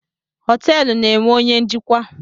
Họteelụ na-enwe onye njikwa.